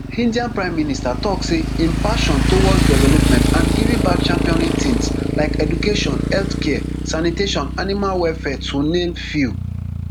india prime minister tok say im passion towards development and giving back championing tins like education healthcare sanitation animal welfare to name few